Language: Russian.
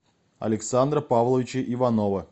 александра павловича иванова